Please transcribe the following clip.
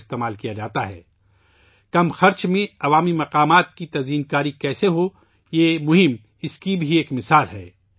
یہ مہم اس بات کی بھی ایک مثال ہے کہ کم خرچ میں عوامی مقامات کو کیسے خوبصورت بنایا جا سکتا ہے